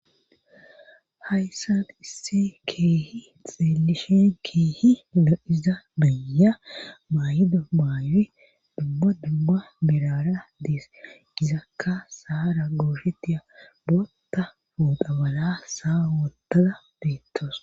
hayssan issi keehi xeelishen keehi lo7iza beeya maayido maayo dubba dubba birara dees gizakka saara gooshetia bootta fuudha bala saa wotada beettawus